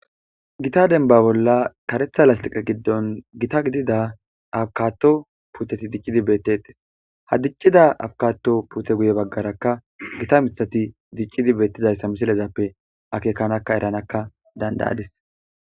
Gita demba bolla Gita karetha lastiqe gidono Gita gidida avocado puuteti dicidi betetes, ha dicida abokadon puute guyeraka gitta mirhati dicidi betizayta misilezappe akekkanka eranaka danda'adisi.